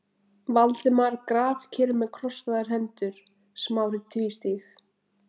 Valdimar grafkyrr með krosslagðar hendur, Smári tvístíg